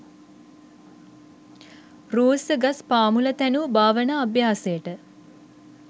රූස්ස ගස් පා මුළ තැනූ භාවනා අභ්‍යාසයට